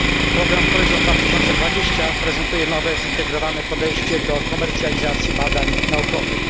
Program Horyzont 2020 prezentuje nowe, zintegrowane podejście do komercjalizacji badań naukowych.